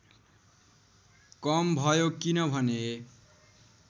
कम भयो किनभने